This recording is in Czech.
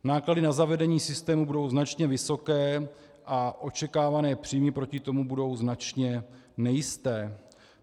Náklady na zavedení systému budou značně vysoké a očekávané příjmy proti tomu budou značně nejisté.